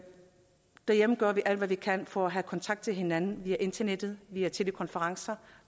derhjemme gør vi alt hvad vi kan for at have kontakt til hinanden via internettet vi har telekonferencer